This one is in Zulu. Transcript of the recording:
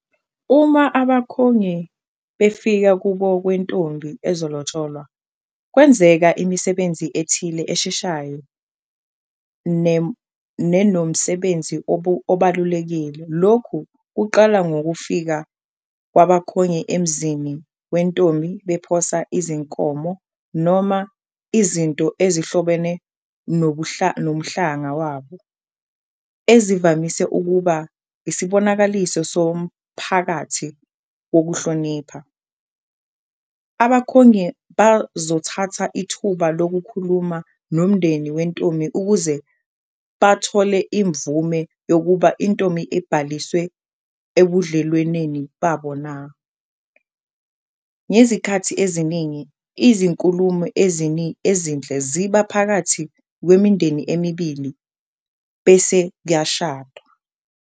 Uma abakhongi befika kubo kwentombi ezolotsholwa kwenzeka imisebenzi ethile esheshayo nenomsebenzi obalulekile, lokhu kuqala ngokufika kwabakhongi emzini wentombi bephosa izinkomo noma izinto ezihlobene nomhlanga wabo ezivamise ukuba isibonakaliso somphakathi wokuhlonipha. Abakhongi bazothatha ithuba lokukhuluma nomndeni wentombi ukuze bathole imvume yokuba intombi ibhaliswe ebudlelweneni babo na. Ngezikhathi eziningi izinkulumo ezinhle, ziba phakathi kwemindeni emibili bese kuyashadwa.